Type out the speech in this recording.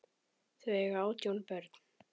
Þau eiga átján börn.